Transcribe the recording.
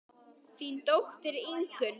Þín dóttir Ingunn.